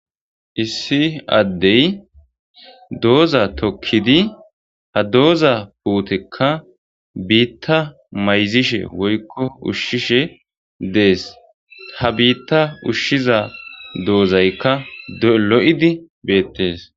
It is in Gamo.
issi addey doza tokkidi hadoza puutekka biitta mayzishe woykko ushshishe dees.ha biitta ushshiza dozaykka lo7idi beettees.